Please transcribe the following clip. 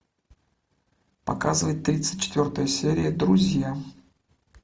показывай тридцать четвертая серия друзья